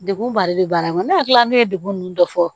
Degun ba de bɛ baara in kɔnɔ ne hakili la ne ye degun nunnu dɔ fɔ